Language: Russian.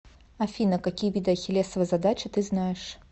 афина какие виды ахиллесова задача ты знаешь